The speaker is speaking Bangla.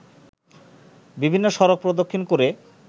বিভিন্ন সড়ক প্রদক্ষিণ করে